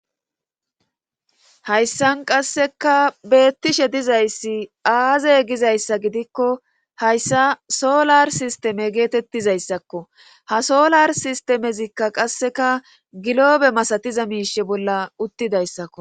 Hayssan qasseka beettishe dizayssi aazey gizayssa gidikko hayssa solar sisteme geetettizayssakko ha solar sistemezikka qasseka giloobe masatiza miishe bolla uttidayssakko.